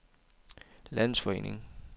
landsforening